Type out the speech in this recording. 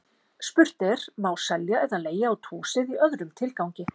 Spurt er: Má selja eða leigja út húsið í öðrum tilgangi?